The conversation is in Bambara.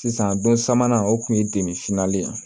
Sisan don sabanan o kun ye de finalen ye